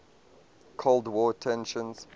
cold war tensions